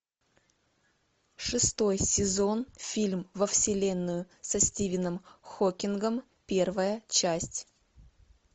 шестой сезон фильм во вселенную со стивеном хокингом первая часть